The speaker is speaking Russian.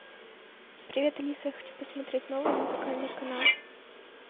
привет алиса я хочу посмотреть новый музыкальный канал